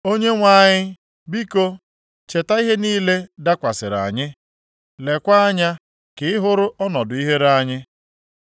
Onyenwe anyị, biko, cheta ihe niile dakwasịrị anyị; leekwa anya ka ị hụrụ ọnọdụ ihere anyị.